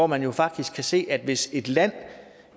man jo faktisk se at hvis et land